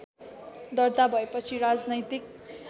दर्ता भएपछि राजनैतिक